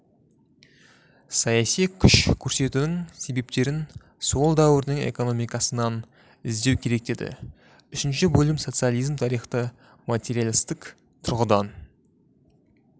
саяси күш көрсетудің себептерін сол дәуірдің экономикасынан іздеу керек деді үшінші бөлім социализм тарихты материалистік тұрғыдан